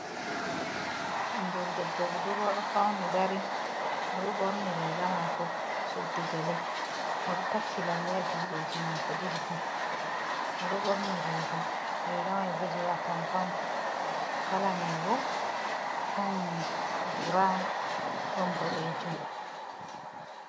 Ɓingel debbo budurwa ɗo fauni dari o ɗo ɓorni riga mako, suddi gele, o ɗo takki lalle ha judeji mako ɗiɗi fu o ɗo ɓorni riga. Riga mai bo, je Atampa on kala mai bo ɗon brawn ɗon boɗejum.